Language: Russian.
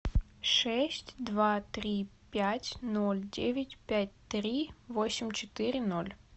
шесть два три пять ноль девять пять три восемь четыре ноль